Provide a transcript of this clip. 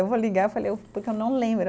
Eu vou ligar e falei que eu não lembro.